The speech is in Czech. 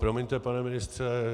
Promiňte, pane ministře.